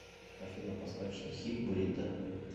афина поставь штрихи бурито